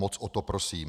Moc o to prosím.